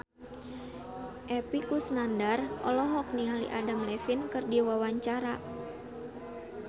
Epy Kusnandar olohok ningali Adam Levine keur diwawancara